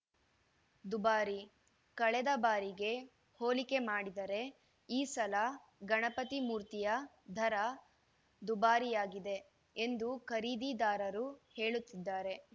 ದುಬಾರಿ ಕಳೆದ ಬಾರಿಗೆ ಹೋಲಿಕೆ ಮಾಡಿದರೆ ಈ ಸಲ ಗಣಪತಿ ಮೂರ್ತಿಯ ದರ ದುಬಾರಿಯಾಗಿದೆ ಎಂದು ಖರೀದಿದಾರರು ಹೇಳುತ್ತಿದ್ದಾರೆ